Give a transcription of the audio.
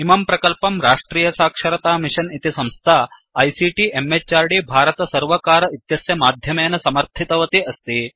इमं प्रकल्पं राष्ट्रियसाक्षरतामिषन् इति संस्था आईसीटी म्हृद् भारतसर्वकार इत्यस्य माध्यमेन समर्थितवती अस्ति